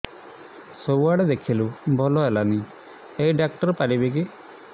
ସବୁଆଡେ ଦେଖେଇଲୁ ଭଲ ହେଲାନି ଏଇ ଡ଼ାକ୍ତର ପାରିବେ କି